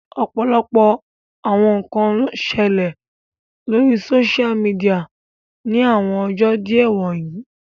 Ọpọlọpọ awọn nkan n ṣẹlẹ lori soṣia midia ni awọn ọjọ diẹ wọnyi